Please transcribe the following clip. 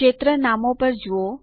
ક્ષેત્ર નામો પર જુઓ